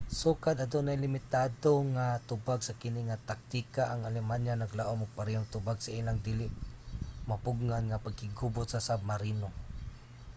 sukad adunay limitado nga tubag sa kini nga taktika ang alemanya naglaom og parehong tubag sa ilang dili mapugngan nga pakiggubat sa submarino